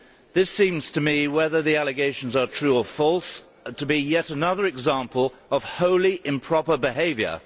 This seems to me, whether the allegations are true or false, to be yet another example of wholly improper behaviour.